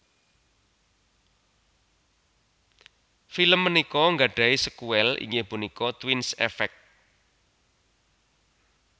Film punika gadhahi sékuèl inggih punika Twins Effect